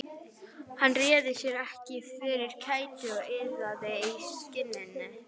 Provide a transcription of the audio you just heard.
Hann réði sér ekki fyrir kæti og iðaði í skinninu.